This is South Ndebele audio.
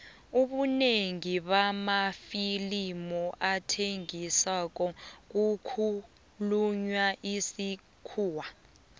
ubunengi bamafilimu athengisako kukhulunywa isikhuwa